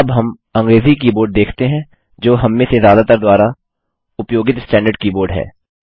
अब हम अंग्रेजी कीबोर्ड देखते हैं जो हममें से ज्यादातर द्वारा उपयोगित स्टैंडर्ड कीबोर्ड है